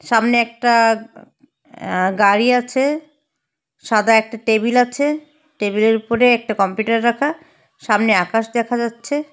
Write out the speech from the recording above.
সামনে একটা আ গাড়ি আছে সাদা একটা টেবিল আছে টেবিলের উপরে একটা কম্পিউটার রাখা সামনে আকাশ দেখা যাচ্ছে।